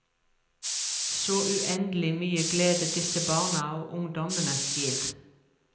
Så uendelig mye glede disse barna og ungdommene gir.